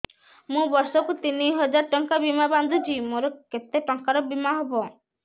ମୁ ବର୍ଷ କୁ ତିନି ହଜାର ଟଙ୍କା ବୀମା ବାନ୍ଧୁଛି ମୋର କେତେ ଟଙ୍କାର ବୀମା ହବ